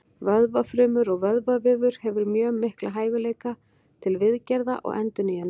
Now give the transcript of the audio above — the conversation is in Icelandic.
Vöðvafrumur og vöðvavefur hefur mjög mikla hæfileika til viðgerða og endurnýjunar.